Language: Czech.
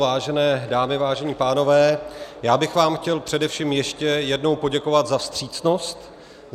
Vážené dámy, vážení pánové, já bych vám chtěl především ještě jednou poděkovat za vstřícnost.